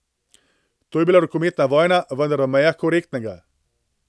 To je bila rokometna vojna, vendar v mejah korektnega.